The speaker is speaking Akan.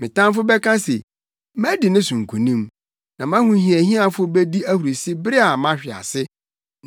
Me tamfo bɛka se, “Madi ne so nkonim.” Na mʼahohiahiafo bedi ahurusi bere a mahwe ase.